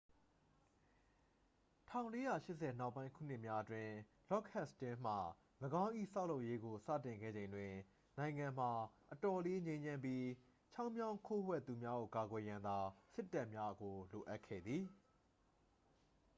1480 နောက်ပိုင်းခုနှစ်များအတွင်း လော့ဒ်ဟတ်စတင်းမှ ၎င်း၏ ဆောက်လုပ်ရေးကို စတင်ခဲ့ချိန်တွင် နိုင်ငံမှာ အတော်လေး ငြိမ်းချမ်းပြီး ချောင်းမြောင်းခိုးဝှက်သူများကို ကာကွယ်ရန်သာ စစ်တပ်များကို လိုအပ်ခဲ့သည်